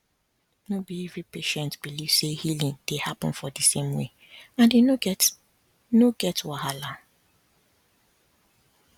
no be every patient believe say healing dey happen for di same way and e no get no get wahala